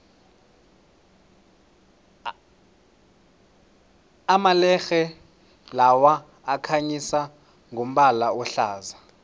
amalerhe lawa akhanyisa ngombala ohlaza